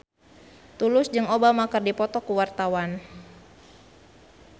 Tulus jeung Obama keur dipoto ku wartawan